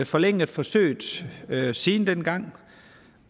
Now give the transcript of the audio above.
forlænget forsøget siden dengang